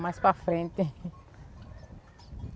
Mais para frente.